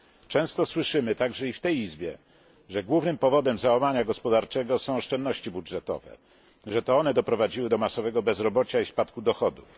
Często słyszymy, także i w tej izbie, że głównym powodem załamania gospodarczego są oszczędności budżetowe, że to one doprowadziły do masowego bezrobocia i spadku dochodów.